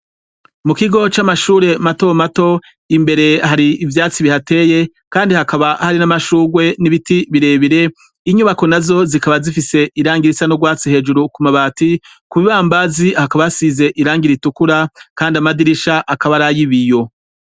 mu kigo c'amashure mato mato imbere hari ibyatsi bihateye kandi hakaba hari n'amashugwe n'ibiti birebire inyubako na zo zikaba zifise irangirisa no rwatsi hejuru ku mabati ku bibambazi hakaba hasize irangire itukura kandi amadirisha akaba arayibiyo